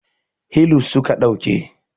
hilus suka dauka